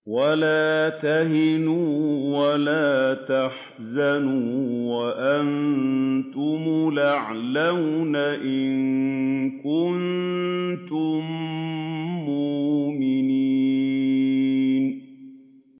وَلَا تَهِنُوا وَلَا تَحْزَنُوا وَأَنتُمُ الْأَعْلَوْنَ إِن كُنتُم مُّؤْمِنِينَ